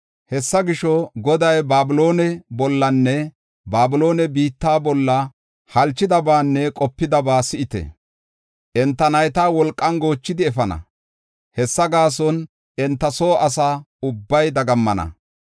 Hessa gisho, Goday Babiloone bollanne Babiloone biitta bolla halchidabanne qopidaba si7ite. Enta nayta wolqan goochidi efana; hessa gaason enta soo asa ubbay dagammana.